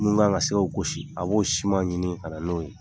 Minnu' kan ka se gosi a b'o siman ɲini ka na n'o ye